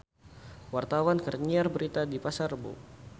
Wartawan keur nyiar berita di Pasar Rebo